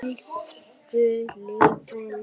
Viltu lifa lengi?